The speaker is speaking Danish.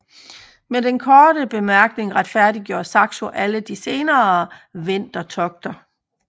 Med denne korte bemærkning retfærdiggjorde Saxo alle de senere vendertogter